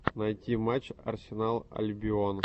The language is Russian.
найти матч арсенал альбион